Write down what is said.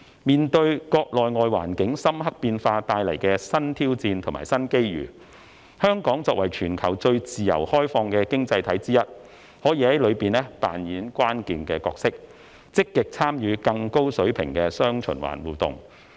面對國內外環境深刻變化帶來的新挑戰和新機遇，香港作為全球最自由開放的經濟體之一，可在其中扮演關鍵角色，積極參與更高水平的"雙循環"互動。